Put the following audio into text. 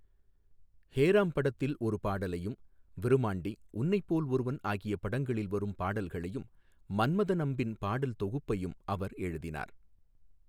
ஹேராம் படத்தில் ஒரு பாடலையும், விருமாண்டி, உன்னைப்போல் ஒருவன் ஆகிய படங்களில் வரும் பாடல்களையும், மன்மதன் அம்பின் பாடல் தொகுப்பையும் அவர் எழுதினார்.